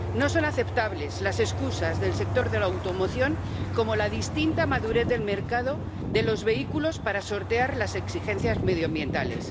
No son aceptables las excusas del sector de la automoción, como la distinta madurez del mercado de los vehículos, para sortear las exigencias medioambientales.